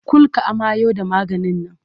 Kul ka amayo da maganin nan!